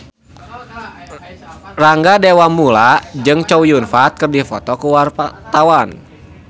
Rangga Dewamoela jeung Chow Yun Fat keur dipoto ku wartawan